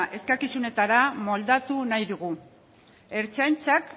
eskakizunetara moldatu nahi dugu ertzaintzak